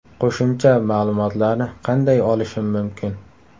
Qo‘shimcha ma’lumotlarni qanday olishim mumkin?